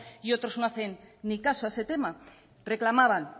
y otros no hacen ni caso a ese tema reclamaban